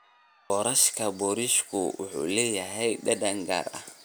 Boorashka boorashku wuxuu leeyahay dhadhan gaar ah.